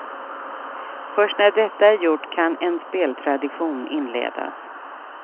Först när detta är gjort kan en speltradition inledas.